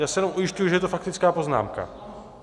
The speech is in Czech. Já se jenom ujišťuji, že je to faktická poznámka.